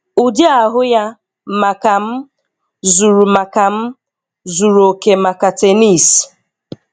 Ụdị ahụ ya, maka m, zuru maka m, zuru oke maka tennis."